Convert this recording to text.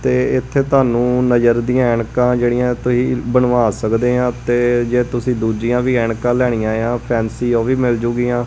ਤੇ ਇੱਥੇ ਤੁਹਾਨੂੰ ਨਜ਼ਰ ਦੀਆਂ ਐਨਕਾਂ ਜਿਹੜੀਆਂ ਤੁਹੀ ਬਣਵਾ ਸਕਦੇ ਆ ਤੇ ਜੇ ਤੁਸੀਂ ਦੂਜੀਆਂ ਵੀ ਐਨਕਾਂ ਲੈਣੀਆਂ ਏ ਆ ਫੈਂਸੀ ਉਹ ਵੀ ਮਿਲ ਜੂਗੀਆਂ।